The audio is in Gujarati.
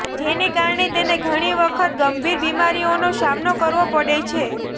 જેને કારણે તેને ઘણી વખત ગંભીર બીમારીઓનો સામનો કરવો પડે છે